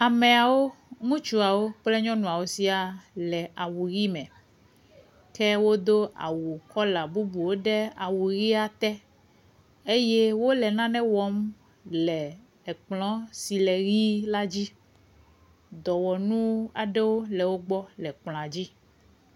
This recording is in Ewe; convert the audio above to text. Amewo, ŋutsuawo kple nyɔnuawo siaa le awu ʋi me ke wodo awu kɔla bubuwo ɖe awu ʋia te eye wole nane wɔm le ekplɔ si le ʋi la dzi. Dɔwɔnu aɖewo le wo gbɔ le kplɔa dzi.